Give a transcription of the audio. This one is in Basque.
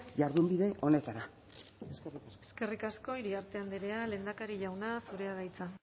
jardunbide honetara eskerrik asko eskerrik asko iriarte andrea lehendakari jauna zurea da hitza